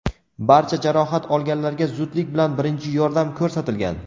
Barcha jarohat olganlarga zudlik bilan birinchi yordam ko‘rsatilgan.